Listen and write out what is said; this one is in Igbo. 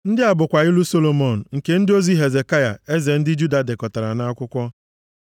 Ndị a bụkwa ilu Solomọn, nke ndị ozi Hezekaya eze ndị Juda dekọtara nʼakwụkwọ.